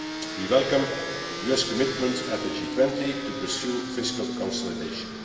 We welcome the US commitment at the G20 to pursue fiscal consolidation.